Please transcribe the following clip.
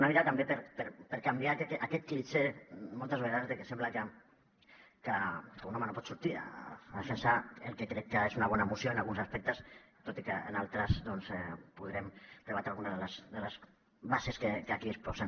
una mica també per canviar aquest clixé moltes vegades de que sembla que un home no pot sortir a defensar el que crec que és una bona moció en alguns aspectes tot i que en altres podrem rebatre alguna de les bases que aquí exposen